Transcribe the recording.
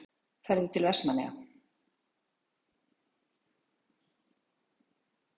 Ferðu til Vestmannaeyja?